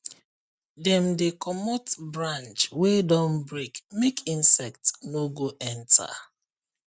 dem dey comot branch wey don break make insect no go enter